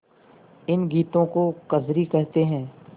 इन गीतों को कजरी कहते हैं